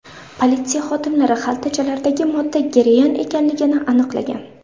Politsiya xodimlari xaltachalardagi modda geroin ekanligini aniqlagan.